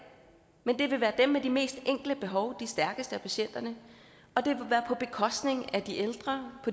men det vil være dem med de mest enkle behov de stærkeste af patienterne og det vil være på bekostning af de ældre